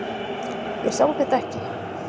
Ég sá þetta ekki.